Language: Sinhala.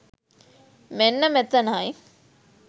මෙන්න මෙතනයි.